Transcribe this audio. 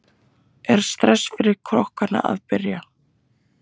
Er stress fyrir kokkana að byrja?